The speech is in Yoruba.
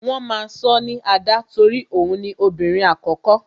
Wọn máa sọ ní Ada torí òun ni obìnrin àkókó